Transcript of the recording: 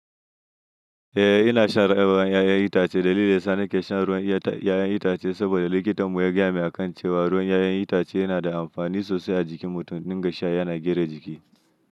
Eh ina shan ruwan 'ya'yan itace. Dalilin da yasa nake shan ruwan 'ya'yan itace saboda likitan mu ya gaya min a kan cewa ruwan 'ya'yan itace yana da amfani sosai a jikin mutum ya dinga sha yana gina jiki.